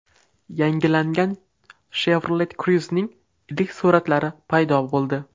Yangilangan Chevrolet Cruze’ning ilk suratlari paydo bo‘ldi.